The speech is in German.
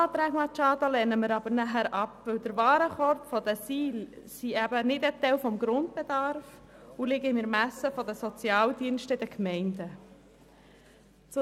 Hingegen lehnen wir die Eventualanträge Machado ab, weil der Warenkorb der Ziele nicht Teil des Grundbedarfs ist und im Ermessen der Sozialdienste der Gemeinden liegt.